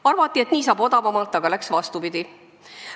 Arvati, et nii saab odavamalt, aga läks vastupidi.